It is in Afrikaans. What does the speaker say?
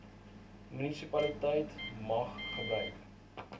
munisipaliteit mag gebruik